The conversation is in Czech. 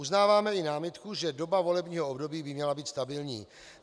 Uznáváme i námitku, že doba volebního období by měla být stabilní.